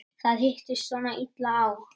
Það hittist svona illa á.